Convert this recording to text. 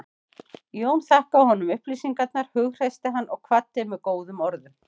Jón þakkaði honum upplýsingarnar, hughreysti hann og kvaddi með góðum orðum.